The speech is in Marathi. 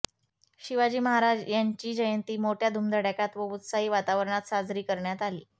शिवाजी महाराज यांची जयंती मोठय़ा धुमधडाक्यात व उत्साही वातावरणात साजरी करण्यात आली